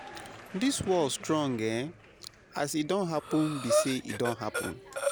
This world strong eeh, as e don happen be say e don happen.